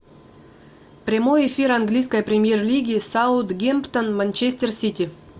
прямой эфир английской премьер лиги саутгемптон манчестер сити